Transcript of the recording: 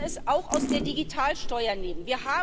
Wir müssen es auch aus der Digitalsteuer nehmen.